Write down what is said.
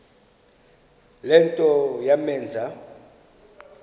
le nto yamenza